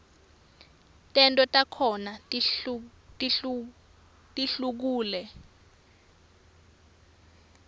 tento takhona tihlukule